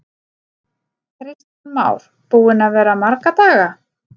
Kristján Már: Búinn að vera marga daga?